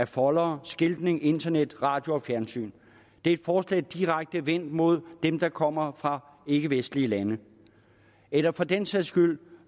foldere skiltning internet radio og fjernsyn det er et forslag direkte vendt mod dem der kommer fra ikkevestlige lande eller for den sags skyld